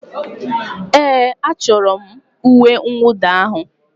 Ee, achọrọ m uwe mwụda ahụ.